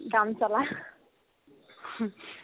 কাম চলা